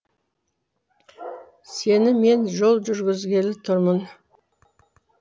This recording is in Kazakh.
сені мен жол жүргізгелі тұрмын